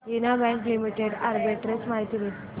देना bank limited arbitrage माहिती दे